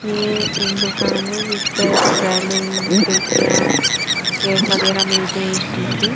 यह एक दुकान है जिस में रेलिंग खिड़किया गेट वगैरहा मिलते है स्टील के--